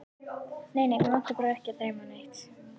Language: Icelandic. Nei, nei, mig var ekki að dreyma neitt.